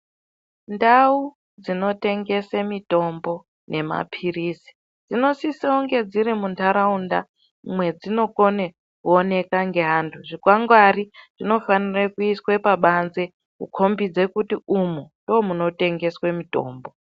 Ndau dzinotengese mitombo nemapirizi dzinosisa kunge dziri muntaraunda mwedzinokone kuonekwa ngeanthu, zvikwangwari zvinofanire kuiswe pabanze kukhombidze kuti umu ndomunotengeswe mitombo.